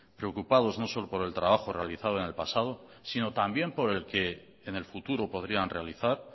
preocupados no solo por el trabajo realizado en el pasado sino también por el que en el futuro podrían realizar